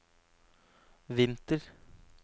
vinter